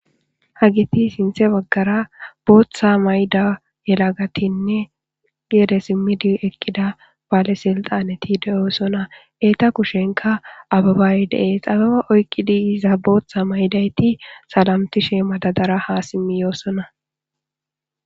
Hageti sintha bagara botha mayidageti gede simidi eqida bale siltanrti dosona eta kushenka abebay des abeba oyqidi botha mayidageti salamtishe madadara ha yosona